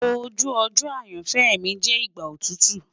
Oju ojo ayanfẹ mi jẹ igba otutu